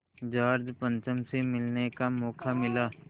George पंचम से मिलने का मौक़ा मिला